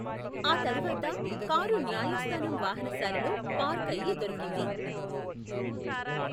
ఆ తర్వాత కారు న్యాయస్థానం వాహనశాలలో పార్క్ అయి దొరికింది.